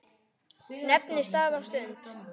Nefndi stað og stund.